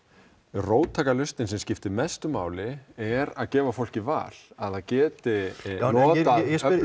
róttækar lausnir sem skiptir mestu máli er að gefa fólki val að það geti notað